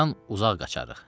Hacıdan uzaq qaçaq.